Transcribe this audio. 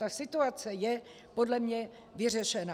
Ta situace je podle mě vyřešena.